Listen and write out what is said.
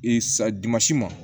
sadimasi ma